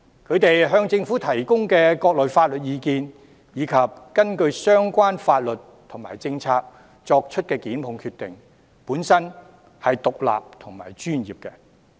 他們向政府提供的各類法律意見，以及根據相關法律和政策所作的檢控決定，本身都是獨立和專業的。